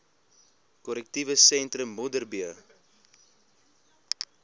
korrektiewe sentrum modderbee